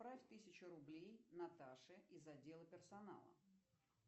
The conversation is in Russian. отправь тысячу рублей наташе из отдела персонала